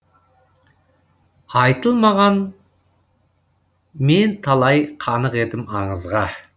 айтылмаған мен талай қанық едім аңызға